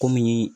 Kɔmi